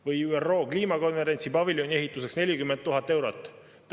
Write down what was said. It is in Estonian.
Või ÜRO kliimakonverentsi paviljoni ehituseks 40 000 eurot.